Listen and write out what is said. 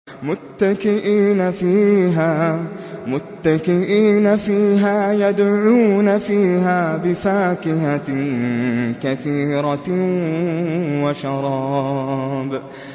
مُتَّكِئِينَ فِيهَا يَدْعُونَ فِيهَا بِفَاكِهَةٍ كَثِيرَةٍ وَشَرَابٍ